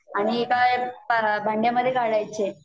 आणि एका भांड्यामध्ये काढायचे